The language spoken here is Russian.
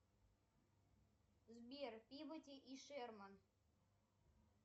сбер пибоди и шерман